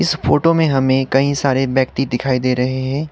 इस फोटो में हमें कई सारे व्यक्ति दिखाई दे रहें हैं।